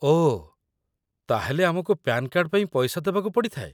ଓଃ, ତା'ହେଲେ ଆମକୁ PAN card ପାଇଁ ପଇସା ଦେବାକୁ ପଡ଼ିଥାଏ ?